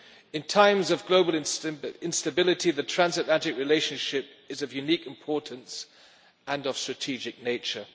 In times of global instability, the Transatlantic relationship is of unique importance and of strategic nature.